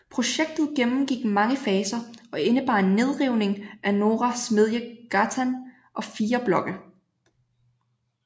Projektet gennemgik mange faser og indebar en nedrivning af Norra Smedjegatan og fire blokke